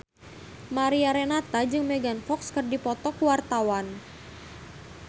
Mariana Renata jeung Megan Fox keur dipoto ku wartawan